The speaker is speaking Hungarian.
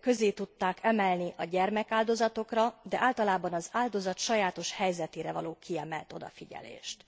közé tudták emelni a gyermek áldozatokra és általában az áldozat sajátos helyzetére való kiemelt odafigyelést.